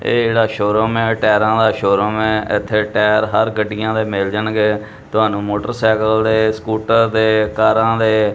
ਇਹ ਜਿਹੜਾ showroom ਏ ਟਾਇਰਾਂ ਦਾ ਸ਼ੋ ਰੂਮ ਏ ਇੱਥੇ ਟਾਇਰ ਹਰ ਗੱਡੀਆਂ ਦੇ ਮਿਲ ਜਾਣਗੇ ਤੁਹਾਨੂੰ ਮੋਟਰਸਾਈਕਲ ਦੇ ਸਕੂਟਰ ਦੇ ਕਾਰਾਂ ਦੇ --